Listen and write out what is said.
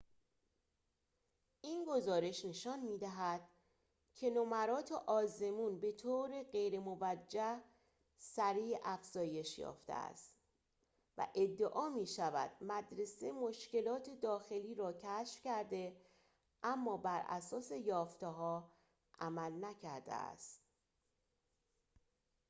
این گزارش نشان می‌دهد که نمرات آزمون به طور غیرموجه سریع افزایش یافته است و ادعا می‌شود مدرسه مشکلات داخلی را کشف کرده اما براساس یافته‌ها عمل نکرده است